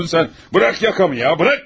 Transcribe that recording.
Burax yaxamı ya, burax, burax!